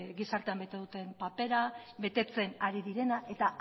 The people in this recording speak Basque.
gizartean bete duten papera betetzen ari direna eta